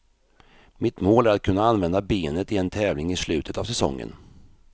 Mitt mål är att kunna använda benet i en tävling i slutet av säsongen.